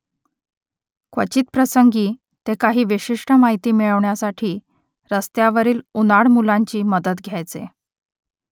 क्वचित प्रसंगी ते काही विशिष्ट माहिती मिळवण्यासाठी रस्त्यावरील उनाड मुलांची मदत घ्यायचे